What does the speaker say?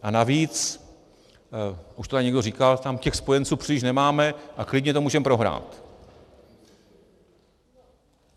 A navíc, už to tady někdo říkal, tam těch spojenců příliš nemáme a klidně to můžeme prohrát.